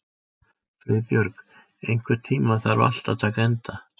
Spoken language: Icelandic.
Friðbjörg, einhvern tímann þarf allt að taka enda.